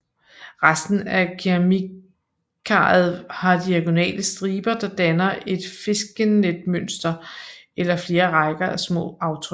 Resten af keramikkaret har diagonale striber der danner et fiskenetmønster eller flere rækker af små aftryk